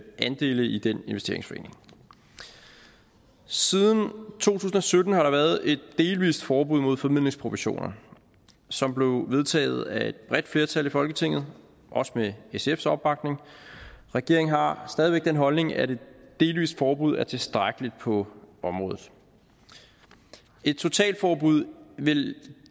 andele i den investeringsforening siden to tusind og sytten har der været et delvist forbud mod formidlingsprovisioner som blev vedtaget af et bredt flertal i folketinget også med sfs opbakning regeringen har stadig væk den holdning at et delvist forbud er tilstrækkeligt på området et totalforbud vil